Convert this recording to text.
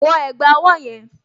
Wọ ẹ̀gbá ọwọ́ yẹn!